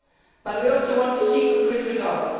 But we also want to see concrete results.